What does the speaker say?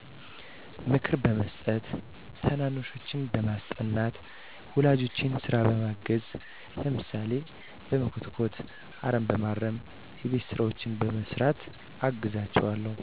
ምክር በመስጠት፣ ታናናሾቸን በማስጠናት፣ ወላጆቼን ስራ በማገዝ፣ ለምሳሌ፦ በመኮትኮት፣ አረም በማረም፣ የቤት ስራዎችን በመስራት አግዛቸዋለሁ